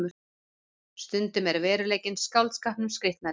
Stundum er veruleikinn skáldskapnum skrítnari